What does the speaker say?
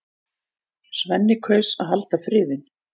Svenni kaus að halda friðinn.